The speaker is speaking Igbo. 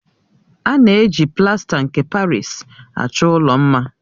A na-eji plasta nke Parịsi achọ ụlọ mma.